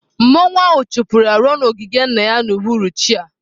Masquerade ahụ chụpụrụ ya ruo n'ogige nna ya n'uhuruchi a.